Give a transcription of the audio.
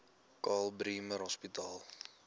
karl bremer hospitaal